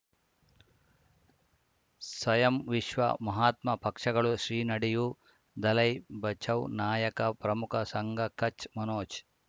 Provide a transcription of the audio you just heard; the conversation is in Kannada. ಸ್ವಯಂ ವಿಶ್ವ ಮಹಾತ್ಮ ಪಕ್ಷಗಳು ಶ್ರೀ ನಡೆಯೂ ದಲೈ ಬಚೌ ನಾಯಕ ಪ್ರಮುಖ ಸಂಘ ಕಚ್ ಮನೋಜ್